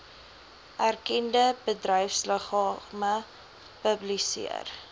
erkende bedryfsliggame publiseer